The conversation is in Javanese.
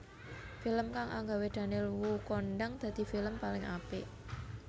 Film kang anggawe Daniel Wu kondhang dadi film paling apik